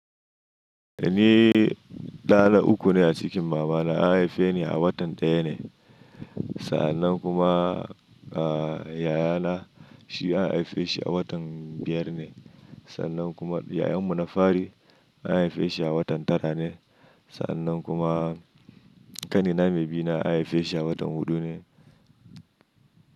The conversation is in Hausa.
Ni ɗa na uku ne a cikin mamana an haife ni a watan ɗaya ne. Sannan kuma, a yayana shi an haife shi a watan biyar ne. Sannan kuma yayanmu na fari an haife shi a watan tara ne. Sannan kuma ƙanina mai bina an haife shi a watan huɗu ne.